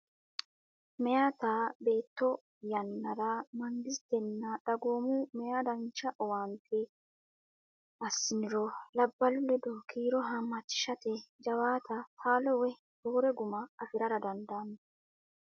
Meyata beetto yannara mangistenna dagoomu meyaa dancha owaante assiniro labballu ledo kiiro haammachishate jawaata taalo woy roore guma afi rara dandaanno.